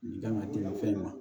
Nin kan ka tɛmɛ fɛn in kan